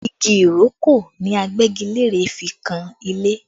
Igi ìrókò ni Agbẹ́gilére fi kan ilé